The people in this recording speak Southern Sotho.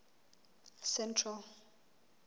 central